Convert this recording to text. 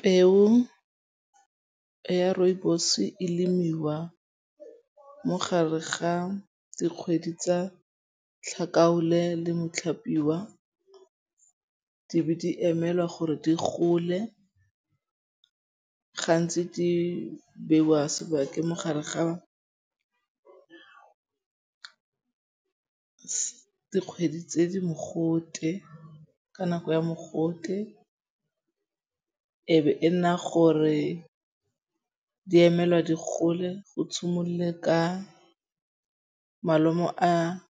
Peo ya rooibos e lemiwa mogare ga dikgwedi tsa tlhakaole le motlhapiwa. Di be di emelwa gore di gole. Gantsi di beiwa sebaka mo gare ga dikgwedi tse di mogote. Ka nako ya mogote e be e nna gore di emelwa di gole, go tshimolle ka malomo a